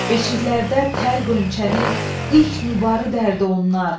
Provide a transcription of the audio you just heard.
Beşiklərədə tər gönçəni, ilk nübarı dərdi onlar.